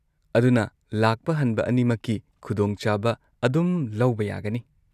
ꯑꯗꯨꯅ ꯂꯥꯛꯄ ꯍꯟꯕ ꯑꯅꯤꯃꯛꯀꯤ ꯈꯨꯗꯣꯡ ꯆꯥꯕ ꯑꯗꯨꯝ ꯂꯧꯕ ꯌꯥꯒꯅꯤ꯫